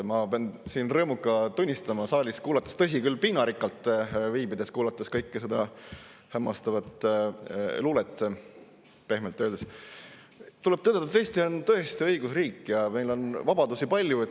Ma pean siin rõõmuga tunnistama, saalis kuulates – tõsi küll, piinarikkalt siin viibides, kuulates kogu seda hämmastavat luulet, pehmelt öeldes –, et tuleb tõdeda: Eesti on tõesti õigusriik ja meil on vabadusi palju.